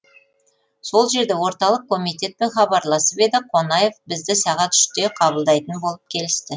сол жерде орталық комитетпен хабарласып еді қонаев бізді сағат үште қабылдайтын болып келісті